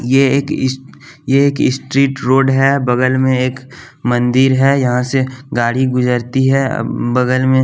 यह एक स यह एक स्ट्रीट रोड है बगल में एक मंदिर है यहां से गाड़ी गुजरती है अह बगल में--